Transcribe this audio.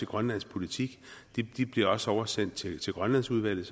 grønlands politik de bliver også oversendt til grønlandsudvalget